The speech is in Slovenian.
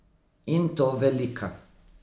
In to velika.